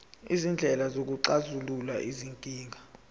izindlela zokuxazulula izinkinga